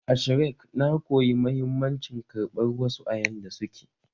A Shrek, na koyi mahimmancin karɓar wasu a yanda suke